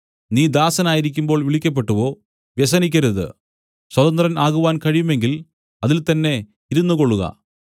നീ ദാസനായിരിക്കുമ്പോൾ വിളിക്കപ്പെട്ടുവോ വ്യസനിക്കരുത് സ്വതന്ത്രൻ ആകുവാൻ കഴിയുമെങ്കിൽ അതിൽത്തന്നെ ഇരുന്നുകൊള്ളുക